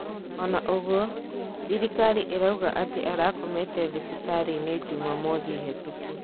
Ona ũgwo, thirikari irauga ati arakomete thibitarĩinĩ Jumamothi hitũku.